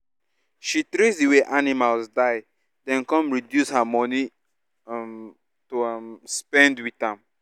she trace di way animals die den come reduce her money um to um spend with am